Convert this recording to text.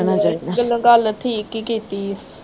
ਗਲੋਂ ਗੱਲ ਠੀਕ ਈ ਕੀਤੀ ਆ।